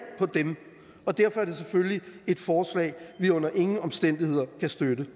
på dem og derfor er det selvfølgelig et forslag vi under ingen omstændigheder kan støtte